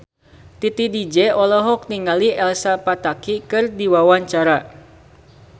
Titi DJ olohok ningali Elsa Pataky keur diwawancara